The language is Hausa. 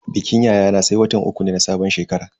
Bikin yayana sai watan uku ne na sabon shekara.